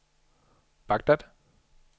Baghdad